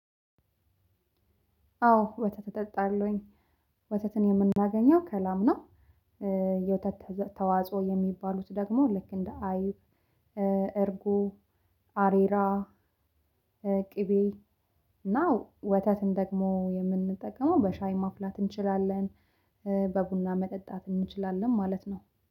አዎ ወተት እጠጣለሁኝ። ወተትን የምናገኘው ከላምናው። የወተት ተዋጽኦ የሚባሉት ደግሞ ልክ እንደ አይብ እርጉ አሬራ ቅቤ እና ወተትን ደግሞ የምንጠቀመው በሻይ ማፍላት እንችላለን። በቡና መጠጣት እንችላለን ማለት ነው።